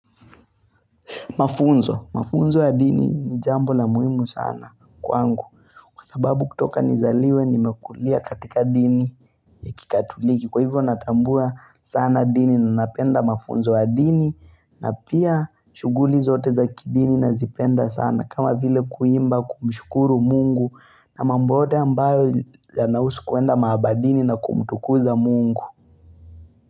Mafunzo. Mafunzo ya dini ni jambo la muhimu sana kwangu. Kwa sababu kutoka nizaliwe nimekulia katika dini ya kikatuliki. Kwa hivyo natambua sana dini na napenda mafunzo ya dini na pia shuguli zote za kidini nazipenda sana. Kama vile kuimba kumshukuru Mungu na mambo yote ambayo yanausu kuenda maabadini na kumtukuza Mungu.